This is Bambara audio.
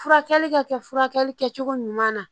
Furakɛli ka kɛ furakɛli kɛcogo ɲuman na